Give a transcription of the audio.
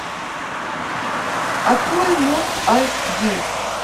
открой мост эйч ди